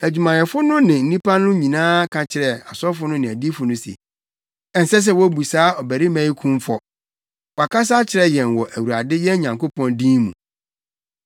Na adwumayɛfo no ne nnipa no nyinaa ka kyerɛɛ asɔfo no ne adiyifo no se, “Ɛnsɛ sɛ wobu saa ɔbarima yi kumfɔ! Wakasa akyerɛ yɛn wɔ Awurade, yɛn Nyankopɔn din mu.”